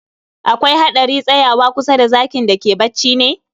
Akwai hadari tsayawa kusa da zakin da ke bacci ne?